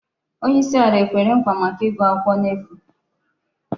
Onye isi ala ekwere nkwa maka igu akwukwo n'efu?